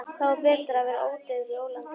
Þá er betra að vera ódauður í ólandi.